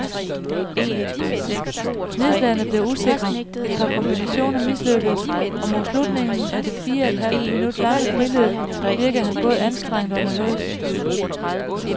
Nedslagene blev usikre, et par kombinationer mislykkedes, og mod slutningen af det fire et halvt minut lange friløb virkede han både anstrengt og nervøs.